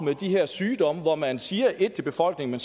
med de her sygdomme hvor man siger ét til befolkningen